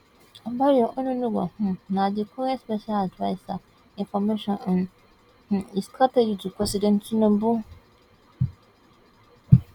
bayo onunuga um na di current special adviser information and um strategy to president tinubu